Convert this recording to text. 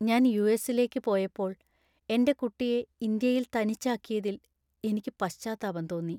ഞാൻ യു.എസി.ലേക്ക് പോയപ്പോൾ എന്‍റെ കുട്ടിയെ ഇന്ത്യയിൽ തനിച്ചാക്കിയതിൽ എനിക്ക് പശ്ചാത്താപം തോന്നി.